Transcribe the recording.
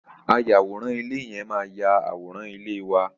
Ayàwòrán ilé yẹn máa yà àwòrán ilé wa.